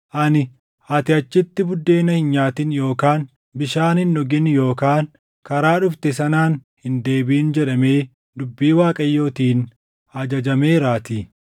Ani, ‘Ati achitti buddeena hin nyaatin yookaan bishaan hin dhugin yookaan karaa dhufte sanaan hin deebiʼin’ jedhamee dubbii Waaqayyootiin ajajameeraatii.”